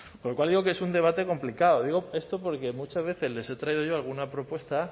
con lo cual digo que es un debate complicado digo esto porque muchas veces les he traído yo alguna propuesta